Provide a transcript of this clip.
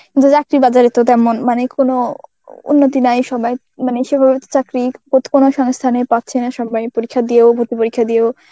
কিন্তু চাকরি বাজারে তো তেমন মানে কোনো উন্নতি নাই সবাই মানে সেভাবে চাকরি কোনো সংস্থানে পাচ্ছে না. সব্বাই পরীক্ষা দিয়েও, ভর্তি পরীক্ষা দিয়েও